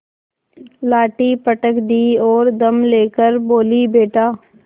लाठी पटक दी और दम ले कर बोलीबेटा